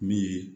Min ye